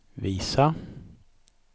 visa